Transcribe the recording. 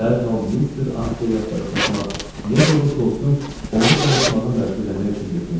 Dərhal Mister Asteği axtarıb tapmaq, necə olursa olsun onu danışmağa məcbur eləmək üçün getmək istədim.